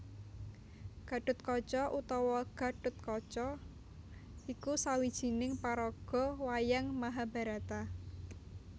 Gathotkaca utawa Gathutkaca iku sawijining paraga wayang Mahabharata